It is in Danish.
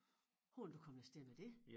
Hvordan er du kommet af sted med det?